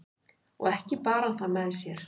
og ekki bar hann það með sér